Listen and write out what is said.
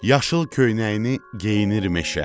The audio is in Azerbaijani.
Yaşıl köynəyini geyinir meşə.